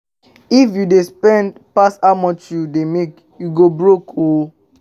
If you dey spend pass how much you dey make, you go broke oo